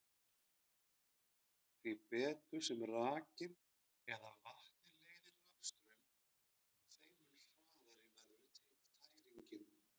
Því betur sem rakinn eða vatnið leiðir rafstraum, þeim mun hraðari verður tæringin.